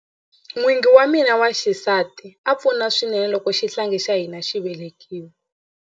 N'wingi wa mina wa xisati a pfuna swinene loko xihlangi xa hina xi velekiwa.